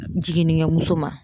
Jiginnikɛmuso ma.